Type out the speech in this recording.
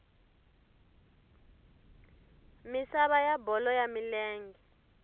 misava ya bolo ya milenge